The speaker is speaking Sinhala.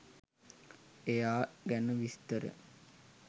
එයා ගැන විස්තර